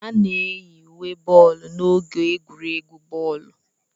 A na-eyi uwe boolu n'oge egwuregwu bọọlụ.